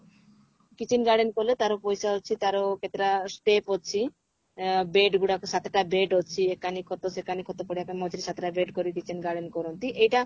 kitchen garden କଲେ ତାର ପଇସା ଅଛି ତାର କେତେଟା step ଅଛି ଅ bed ଗୁଡାକ ସାତଟା bed ଅଛି ଏଖାନି ଖଟ ଶେଖାନି ଖଟ ପଡିଆଟା ମଝିରେ ସାତଟା gate kitchen garden କରନ୍ତି ଏଇଟା